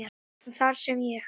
en þar sem ég